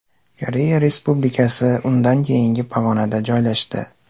Koreya Respublikasi undan keyingi pog‘onada joylashdi.